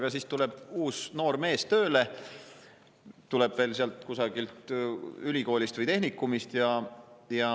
Aga siis tuleb uus noor mees tööle, tuleb veel sealt kusagilt ülikoolist või tehnikumist.